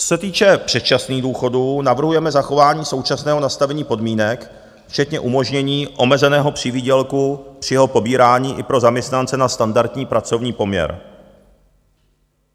Co se týče předčasných důchodů, navrhujeme zachování současného nastavení podmínek včetně umožnění omezeného přivýdělku při jeho pobírání i pro zaměstnance na standardní pracovní poměr.